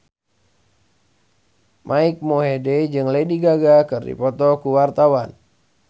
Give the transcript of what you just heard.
Mike Mohede jeung Lady Gaga keur dipoto ku wartawan